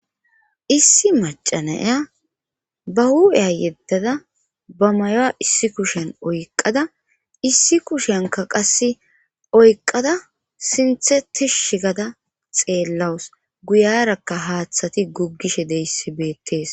issi macanaya ba hu7eya yeddada ba mayoa issi kushen oyqada issi kushenka qasse oyqada sinthe ti shigada xeellawus guyarakka haaththati guggishe deyssibeettees